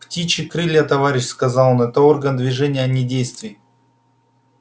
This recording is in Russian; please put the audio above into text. птичьи крылья товарищи сказал он это орган движения а не действий